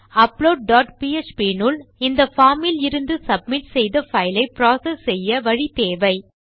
upload dot PHP இனுள் இந்த form இலிருந்து சப்மிட் செய்த பைல் ஐ புரோசெஸ் செய்ய வழி தேவை